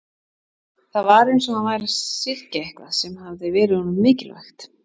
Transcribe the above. Það var eins og hann væri að syrgja eitthvað sem hafði verið honum mikilvægt.